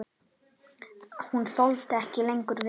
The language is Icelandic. Hún þoldi ekki lengur við.